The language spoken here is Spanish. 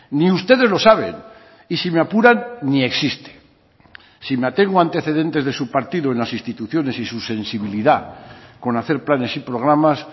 ni ustedes lo saben y si me apuran ni existe si me atengo a antecedentes de su partido en las instituciones y su sensibilidad con hacer planes y programas